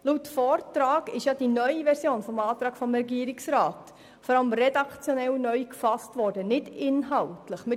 Laut Vortrag enthält die neue Version des Regierungsantrags vor allem redaktionelle und nicht inhaltliche Änderungen.